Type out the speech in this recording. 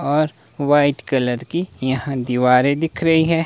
और white colour की यहां दीवारे दिख रही हैं।